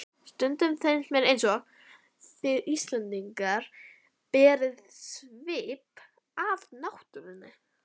Stundum finnst mér einsog þið Íslendingar berið svip af náttúrunni.